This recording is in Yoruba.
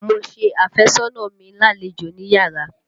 Mo ṣe àfẹ́sọ́nà mi lálejò níyárà.